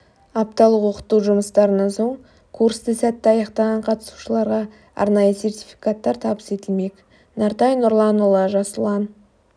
апталық оқыту жұмыстарынан соң курсты сәтті аяқтаған қатысушыларға арнайы сертификаттар табыс етілмек нартай нұрланұлы жас ұлан